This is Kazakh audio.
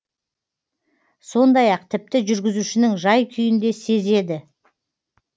сондай ақ тіпті жүргізушінің жай күйін де сезеді